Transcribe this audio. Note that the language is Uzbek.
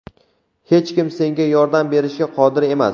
hech kim senga yordam berishga qodir emas.